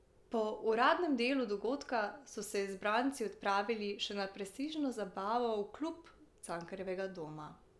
Po uradnem delu dogodka so se izbranci odpravili še na prestižno zabavo v klub Cankarjevega doma.